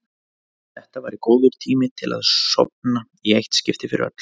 Þetta væri góður tími til að sofna í eitt skipti fyrir öll.